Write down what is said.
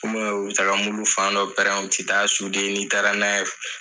u bi ka mulu fan dɔ pɛrɛn u tɛ taa ni taara n'a ye.